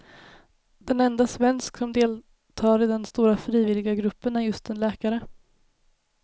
Den enda svensk som deltar i den stora frivilliga gruppen är just en läkare.